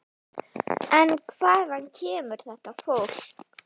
En hvaðan kemur þetta fólk?